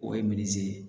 O ye minzi ye